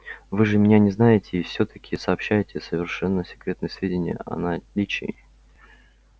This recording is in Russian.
вы же меня не знаете и всё таки сообщаете совершенно секретные сведения о наличии